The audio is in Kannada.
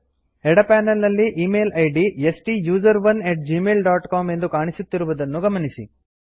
ಎಡ ಪನೆಲ್ ನಲ್ಲಿ ಇಮೇಲ್ ಇದ್ ಸ್ಟುಸೆರೋನ್ ಅಟ್ ಜಿಮೇಲ್ ಡಾಟ್ ಸಿಒಎಂ ಎಂದು ಕಾಣಿಸುತ್ತಿರುದನ್ನು ಗಮನಿಸಿ